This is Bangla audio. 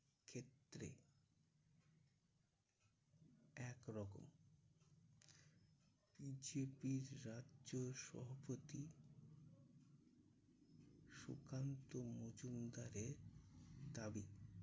ক্ষেত্রে একরকম। যে বীররা চোর শব্দটি সুকান্ত মজুমদারের দাবি